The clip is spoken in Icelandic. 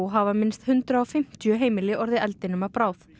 hafa minnst hundrað og fimmtíu heimili orðið eldinum að bráð